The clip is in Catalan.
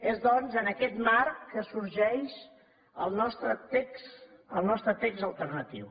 és doncs en aquest marc que sorgeix el nostre text alternatiu